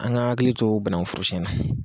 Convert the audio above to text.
An ga an hakili to bananguforosɛn na